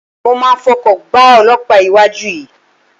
Mo máa fọkọ̀ gbá olọ́pàá iwájú yìí.